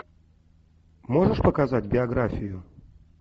можешь показать биографию